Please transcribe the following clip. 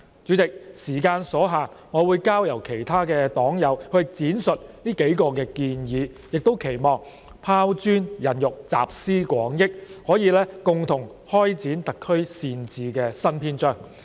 主席，發言時間所限，我會交由其他黨友闡述這議案中的數項建議，期望拋磚引玉，集思廣益，可以共同開展特區善治的新篇章。